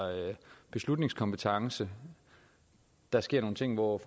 beslutningskompetence der sker nogle ting hvor